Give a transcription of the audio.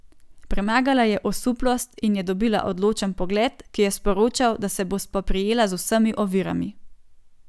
Premagala je osuplost in je dobila odločen pogled, ki je sporočal, da se bo spoprijela z vsemi ovirami.